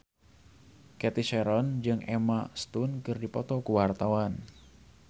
Cathy Sharon jeung Emma Stone keur dipoto ku wartawan